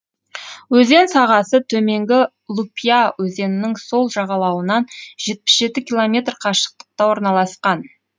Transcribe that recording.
өзен сағасы төменгі лупья өзенінің сол жағалауынан жетпіс жеті километр қашықтықта орналасқан